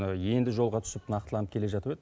енді жолға түсіп нақтыланып келе жатып еді